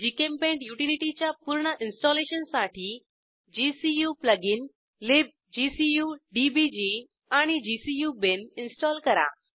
GChemPaint युटिलिटीजच्या पूर्ण इन्स्टॉलेशनसाठी gcu प्लगइन libgcu डीबीजी आणि gcu बिन इन्स्टॉल करा